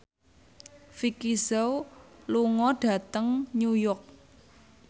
Vicki Zao lunga dhateng New York